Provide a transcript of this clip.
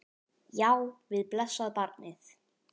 Já, við blessað barnið!